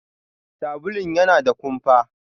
Sabulun yana da kumfa.